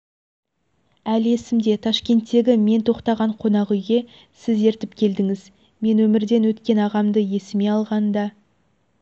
әлі есімде ташкенттегі мен тоқтаған қонақ үйге сіз ертіп келдіңіз мен өмірден өткен ағамды есіме алғанда